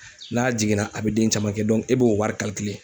N'a jiginna , a bɛ den caman kɛ e b'o wari .